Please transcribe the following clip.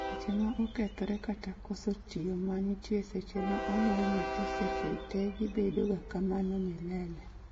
leche ma okethore kata koso tiyo manitie seche ma onyuol nyathi seche te gibedo ga kamano milele